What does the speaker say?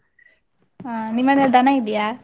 ಹ, ನಿಮ್ಮನೇಲ್ ದನ ಇದೀಯಾ?